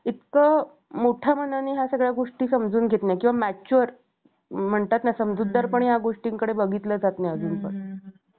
इतक्या मोठ्या मनाने ह्या सगळ्या गोष्टी समजून घेत नाही किंवा mature म्हणतात ना समजूतदारपणे या गोष्टींकडे बघितलं जात नाही अजून पण